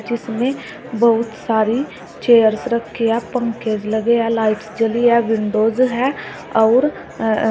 इसमें बहुत सारी चेयर्स रखे या पंखेज लगे या लाइट्स जली या विंडोज हैं और--